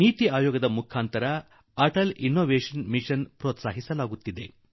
ನೀತಿ ಆಯೋಗದ ಮೂಲಕ ಅಟಲ್ ಇನ್ನೋವೇಷನ್ ಮಿಷನ್ ಗೆ ಪೆÇ್ರೀತ್ಸಾಹ ನೀಡಲಾಗುತ್ತಿದೆ